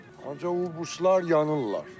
Ancaq o birisilər yanırlar.